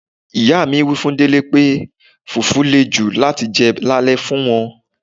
Ìyá mi wí fún Délé pé fufu lè jù láti jẹ lale fún wọn.